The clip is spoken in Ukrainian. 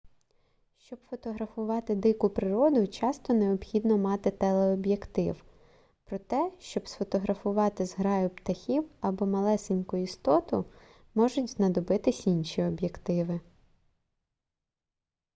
щоб фотографувати дику природу часто необхідно мати телеоб'єктив проте щоб сфотографувати зграю птахів або малесеньку істоту можуть знадобитись інші об'єктиви